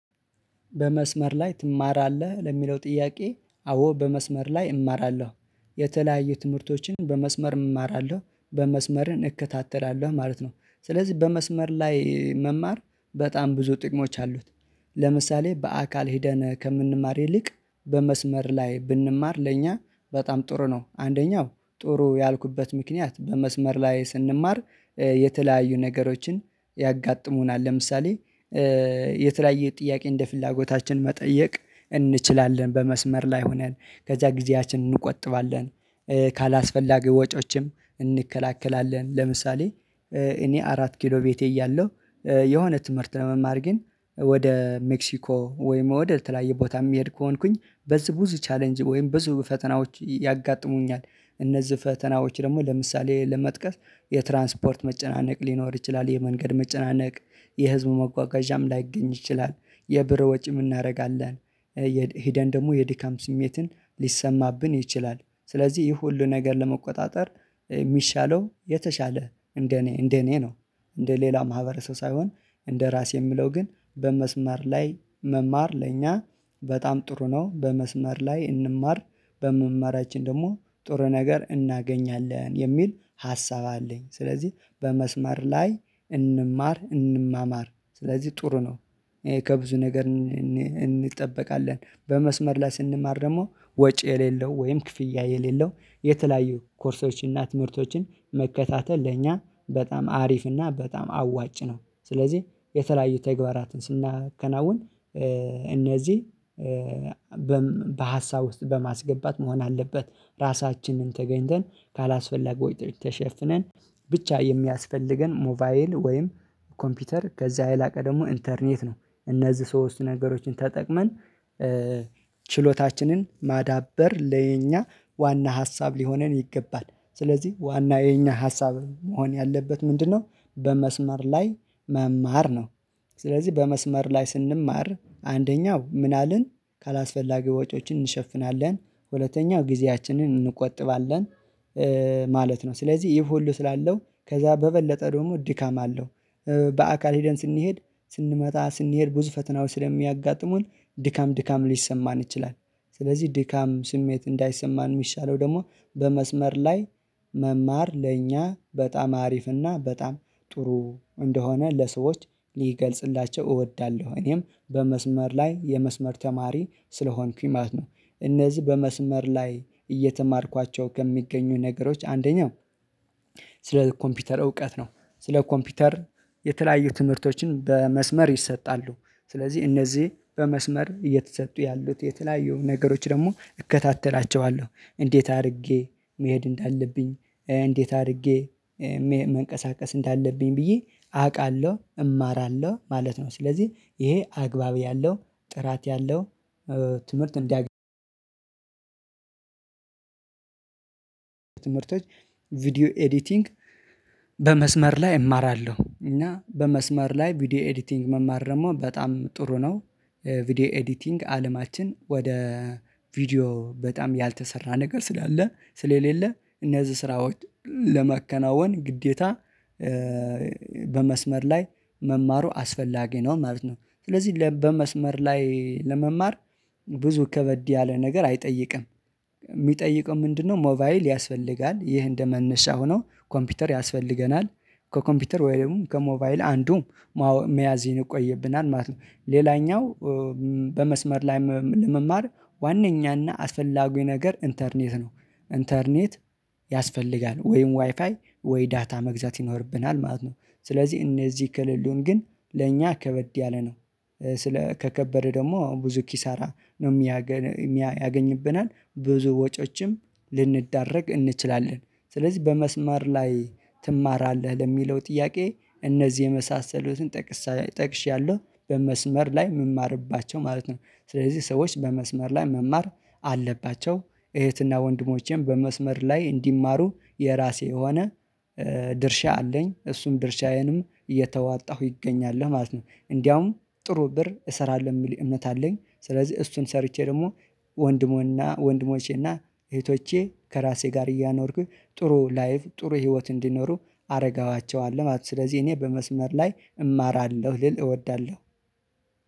በመስመር ላይ ትማራለህ ለሚለው ጥያቄ አዎ በመስመር ላይ እማራለሁ። የተለያዩ ትምህርቶችን በመስመር እማራለሁ በመስመርን እከታተላለሁ ማለት ነው። ስለዚህ በመስመር ላይ መማር በጣም ብዙ ጥቅሞች አሉት። ለምሳሌ በአካል ሄደን ከምንማር ይልቅ በመስመር ላይ ብንማር ለእኛ በጣም ጥሩ ነው። አንደኛው ጥሩ ያልኩበት ምክንያት በመስመር ላይ ስንማር የተለያዩ ነገሮችን ያጋጥሙናል ለምሳሌ የተለያየ ጥያቄ እንደ ፍላጎታችን መጠየቅ እንችላለን በመስመር ላይ ሆነን ከዛ ጊዜያችንን እንቆጥባለን። ካላስፈላገው ወጪዎችም እንከላከላለን። ለምሳሌ እኔ አራት ኪሎ ቤቴ እያለሁ የሆነ ትምህርት ለመማር ግን ወደ ሜክሲኮ ወይም ወደል ተለያየ ቦታ የሚሄድ ከሆንኩኝ በዚህ ብዙ ቻሌንጅ ወይም ብዙ ፈተናዎች ያጋጥሙኛል። እነዚህ ፈተናዎች ደግሞ ለምሳሌ ለመጥቀስ የትራንስፖርት መጨናነቅ ሊኖር ይችላል። የመንገድ መጨናነቅ የህዝቡ መጓጓዣም ላይገኝ ይችላል። የብር ወጪም እናደርጋለን። ሄደን ደግሞ የድካም ስሜትን ሊሰማብን ይችላል። ስለዚህ ይህ ሁሉ ነገር ለመቆጣጠር የሚሻለው የተሻለ እንደ እኔ እንደ እኔ ነው። እንደ ሌላ ማህበረሰብ ሳይሆን እንደ ራሴ የምለው ግን በመስመር ላይ መማር ለእኛ በጣም ጥሩ ነው። በመስመር ላይ እንማር በምማራችን ደግሞ ጥሩ ነገር እናገኛለን የሚል ሀሳብ አለኝ። ስለዚህ በመስመር ላይ እንማር እንማማር ስለዚህ ጥሩ ነው። ከብዙ ነገር እንጠበቃለን በመስመር ላይ ስንማር ደግሞ ወጪ የሌለው ወይም ክፍያ የሌለው የተለያዩ ኮርሶች እና ትምህርቶችን መከታተል ለእኛ በጣም አሪፍ እና በጣም አዋጭ ነው። ስለዚህ የተለያዩ ተግባራትን ስናከናውን እነዚህ በሀሳብ ውስጥ በማስገባት መሆን አለበት። ራሳችንን ተገኝተን ካላስፈለገው ወይድ ተሸፍነን ብቻ የሚያስፈልገን ሞቫይል ወይም ኮምፒውተር ከዛ ያላቀ ደግሞ ኢንተርኔት ነው። እነዚህ ሶስቱ ነገሮችን ተጠቅመን ችሎታችንን ማዳበር ለኛ ዋና ሀሳብ ሊሆነን ይገባል። ስለዚህ ዋና የኛ ሀሳብ መሆን ያለበት ምንድነው? በመስመር ላይ መማር ነው። ስለዚህ በመስመር ላይ ስንማር አንደኛው ምን አለን? ካላስፈላጊ ወጪዎችን እንሸፍናለን። ሁለተኛው ጊዜያችንን እንቆጥባለን ማለት ነው። ስለዚህ ይፉ ሁሉ ስላለው ከዛ በበለጠ ደግሞ ድካም አለው። በአካል ሄደን ስንሄድ ስንመጣ ስንሄድ ብዙ ፈተናው ስለሚያጋጥሙን ድካም ድካም ሊሰማን ይችላል። ስለዚህ ድካም ስሜት እንዳይሰማን የሚሻለው ደግሞ በመስመር ላይ መማር ለእኛ በጣም አሪፍና በጣም ጥሩ እንደሆነ ለሰዎች ሊገልጽላቸው እወዳለሁ። እኔም በመስመር ላይ የመስመር ተማሪ ስለሆንኩኝ ማለት ነው። እነዚህ በመስመር ላይ እየተማርኳቸው ከሚገኙ ነገሮች አንደኛው ስለ ኮምፒውተር እውቀት ነው። ስለ ኮምፒውተር የተለያዩ ትምህርቶችን በመስመር ይሰጣሉ። ስለዚህ እነዚህ በመስመር እየተሰጡ ያሉት የተለያዩ ነገሮች ደግሞ እከታተላቸዋለሁ እንዴት አድርጌ መሄድ እንዳለብኝ እንዴት አድርጌ መንቀሳቀስ እንዳለብኝ ብዬ አውቃለሁ እማራለሁ ማለት ነው። ስለዚህ ይሄ አግባብ ያለው ጥራት ያለው ትምህርት እንዲያገኝ ትምህርቶች ቪዲዮ ኤዲቲንግ በመስመር ላይ እማራለሁ እና በመስመር ላይ ቪዲዮ ኤዲቲንግ መማር ደግሞ በጣም ጥሩ ነው። ቪዲዮ ኤዲቲንግ አለማችን ወደ ቪዲዮ በጣም ያልተሰራ ነገር ስላለ ስለሌለ እነዚህ ስራዎች ለመከናወን ግዴታ በመስመር ላይ መማሩ አስፈላጊ ነው። ማለት ነው ስለዚህ በመስመር ላይ ለመማር ብዙ ከበድ ያለ ነገር አይጠይቅም። የሚጠይቀው ምንድነው? ሞባይል ያስፈልጋል ይህ እንደመነሻ ሆኖ ኮምፒውተር ያስፈልገናል። ከኮምፒውተር ወይም ከሞባይል አንዱም መያዝ ይንቆይብናል ማለት ነው። ሌላኛው በመስመር ላይ ለመማር ዋናኛና አስፈላጊ ነገር ኢንተርኔት ነው። ኢንተርኔት ያስፈልጋል ወይም ዋይፋይ ወይ ዳታ መግዛት ይኖርብናል ማለት ነው። ስለዚህ እነዚህ ከሌሉን ግን ለእኛ ከበድ ያለ ነው። ስለ ከከበደ ደግሞ ብዙ ኪሳራ ነው የሚያገኝብናል ብዙ ወጪዎችም ልንዳረግ እንችላለን። ስለዚህ በመስመር ላይ ትማራለህ ለሚለው ጥያቄ እነዚህ የመሳሰሉትን ጠቅሳ ጠቅሻለሁ በመስመር ላይ የምማርባቸው ማለት ነው። ስለዚህ ሰዎች በመስመር ላይ መማር አለባቸው እህትና ወንድሞቼም በመስመር ላይ እንዲማሩ የራሴ የሆነ ድርሻ አለኝ እሱም ድርሻዬንም እየተዋጣሁ ይገኛል ማለት ነው። እንደውም ጥሩ ብር እሰራለሁ የሚል እምነት አለኝ። ስለዚህ እሱን ሰርቼ ደግሞ ወንድሞና ወንድሞቼና እህቶቼ ከራሴ ጋር እያኖርኩኝ ጥሩ ላይቭ ጥሩ ህይወት እንዲኖሩ አረጋኋቸዋለሁ ማለት ነው። ስለዚህ እኔ በመስመር ላይ እማራለሁ ልል እወዳለሁ።